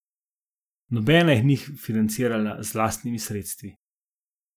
Nobena jih ni financirala z lastnimi sredstvi.